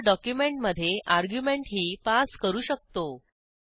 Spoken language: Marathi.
हेरे डॉक्युमेंटमधे अर्ग्युमेंटही पास करू शकतो